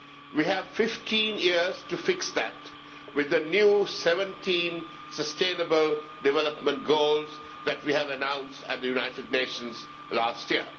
We have 15 years to fix that with the new 17 sustainable development goals announced at the United Nations last year.